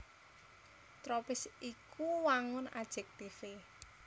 Tropis iku wangun ajektivé